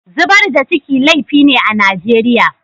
Zubar da ciki laifi ne a Nijeriya.